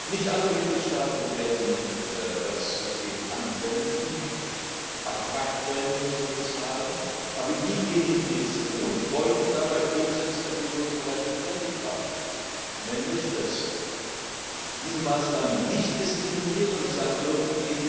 Nicht alle Mitgliedstaaten werden das System anwenden, Abwrackprämien zu bezahlen, aber diejenigen, die es tun, folgen dabei Grundsätzen, auf die wir uns bereits verständigt haben, nämlich dass diese Maßnahmen gegenüber anderen Herstellern nicht diskriminierend sein dürfen.